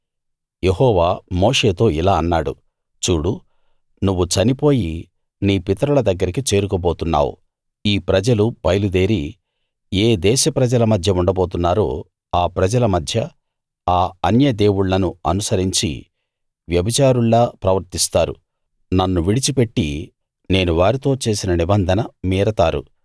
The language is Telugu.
యెహోవా మోషేతో ఇలా అన్నాడు చూడు నువ్వు చనిపోయి నీ పితరుల దగ్గరికి చేరుకోబోతున్నావు ఈ ప్రజలు బయలుదేరి ఏ దేశ ప్రజల మధ్య ఉండబోతున్నారో ఆ ప్రజల మధ్య ఆ అన్య దేవుళ్ళను అనుసరించి వ్యభిచారుల్లా ప్రవర్తిస్తారు నన్ను విడిచిపెట్టి నేను వారితో చేసిన నిబంధన మీరతారు